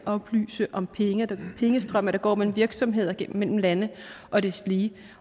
oplyse om pengestrømme der går mellem virksomheder mellem lande og deslige